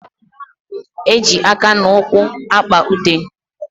Eji aka na ụkwụ akpa ute.